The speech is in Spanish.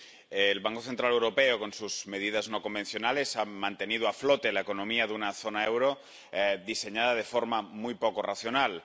Señor presidente, el Banco Central Europeo con sus medidas no convencionales ha mantenido a flote la economía de una zona euro diseñada de forma muy poco racional.